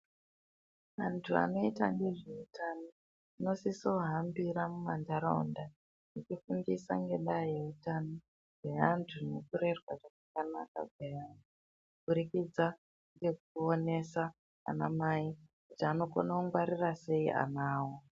Antu anoita ngezvehutano anosiso hambira muma ntaraunda echifundisa ngendaa yeutano. Ngeantu nekurerwa kwakanaka kweana kubudikidza nekuonesa ana mai kuti anokona kungwarira sei ana avo.